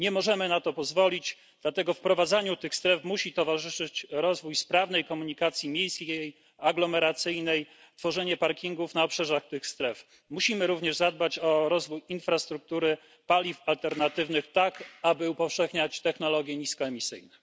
Nie możemy na to pozwolić, dlatego wprowadzaniu tych stref musi towarzyszyć rozwój sprawnej komunikacji miejskiej, aglomeracyjnej i tworzenie parkingów na obrzeżach tych stref. Musimy również zadbać o rozwój infrastruktury paliw alternatywnych, tak aby upowszechniać technologie niskoemisyjne.